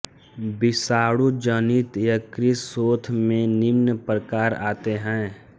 विषाणुजनित यकृत शोथ में निम्न प्रकार आते हैं